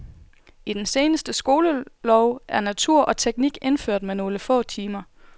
I den seneste skolelov er natur og teknik indført med nogle få timer.